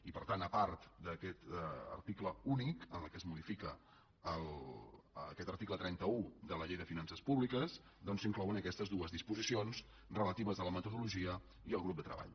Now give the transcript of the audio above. i per tant a part d’aquest article únic en el qual es modifica aquest article trenta un de la llei de finances públiques doncs s’inclouen aquestes dues disposicions relatives a la metodologia i al grup de treball